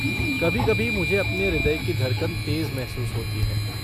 कभी कभी मुझे अपने हृदय की धड़कन तेज महसूस होती है।